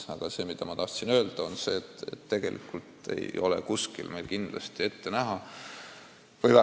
Ma tahtsin oma lausega öelda seda, et tegelikult ei ole kuskil ette näha mõne üldhaigla sulgemist.